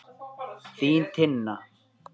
Þín Tinna.